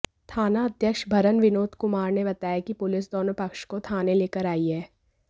थानाध्यक्ष बरहन विनोद कुमार ने बताया कि पुलिस दोनों पक्ष को थाने लेकर आई है